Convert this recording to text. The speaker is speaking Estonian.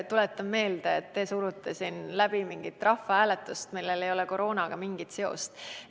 Tuletan meelde, et te ise surute siin läbi mingit rahvahääletust, millel ei ole koroonaga mingit seost.